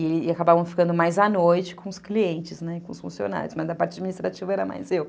E acabavam ficando mais à noite com os clientes, com os funcionários, mas da parte administrativa era mais eu.